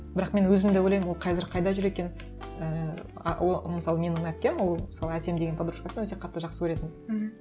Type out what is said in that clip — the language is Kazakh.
бірақ мен өзім де ойлаймын ол қазір қайда жүр екен ііі а ол мысалы менің әпкем ол мысалы әсем деген подружкасын өте қатты жақсы көретін мхм